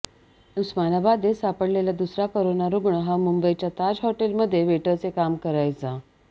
उस्मानाबादेत सापडलेला दुसरा कोरोना रुग्ण हा मुंबईच्या ताज हॉटेलमध्ये वेटरचं काम करायचा